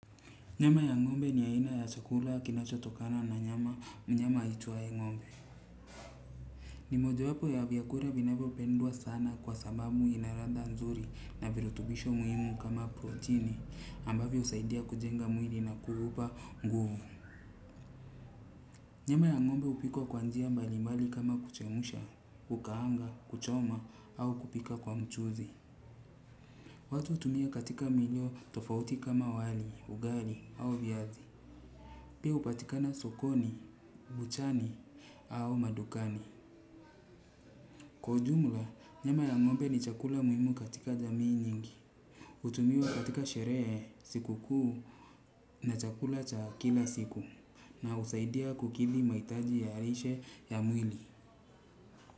Nyama ya ng'ombe ni aina chakula kinachotokana kwa mnyama aitaye ng'mbe. Ni moja wapo ya vyakula vinavyopendwa sana kwa sababu ina ladha nzuri na virutubisho muhimu kama protini ambavyo husaidia kujenga mwili na kuipa nguvu. Nyama ya ng'ombe hupikwa kwa njia mbali mbali kama kuchemusha, kukaanga, kuchoma au kupika kwa mchuzi. Watu hutumia katika milo tofauti kama wali, ugali au viazi. Pia hupatikana sokoni, buchani, au madukani. Kwa jumula, nyama ya ngombe ni chakula muhimu katika jamii nyingi. Hutumiwa katika sherehe, siku kuu na chakula cha kila siku. Na husaidia ku kidhi mahitaji ya lishe ya mwili.